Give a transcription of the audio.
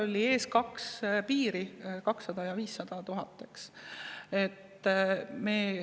Meil oli ees kaks piiri: 200 000 ja 500 000.